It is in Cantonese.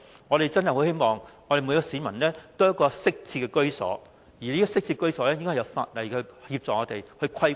我們真的很希望每一個市民都有一個適切的居所，而這些適切居所應由法例作出規管。